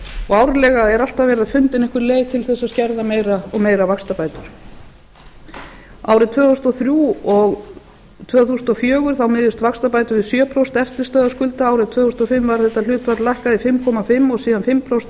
og árlega er alltaf fundin einhver leið til að skerða meira og meira vaxtabætur árin tvö þúsund og þrjú og tvö þúsund og fjögur miðast vaxtabætur við sjö prósent eftirstöðva skulda árið tvö þúsund og fimm var þetta hlutfall lækkað í fimm komma fimm og síðan fimm prósent